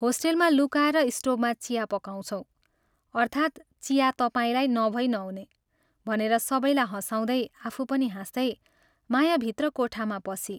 होस्टेलमा लुकाएर स्टोभमा चिया पकाउँछौँ।" अर्थात् चिया तपाईंलाई नभई नहुने " भनेर सबैलाई हँसाउदै, आफू पनि हाँस्दै माया भित्र कोठामा पसी।